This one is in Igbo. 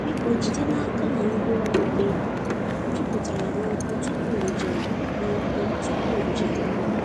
Biko jide n’aka na ngwaọrụ gị juputara n’ọkụ tupu njem n’ọkụ tupu njem ahụ.